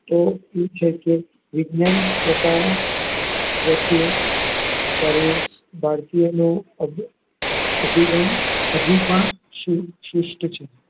તો એ છે કે વિજ્ઞાન પતવા પ્રત્યે સર્વે ભારતીયોનો અભિગમ હજુ પણ શ્રુ સૂષ્ઠ છે.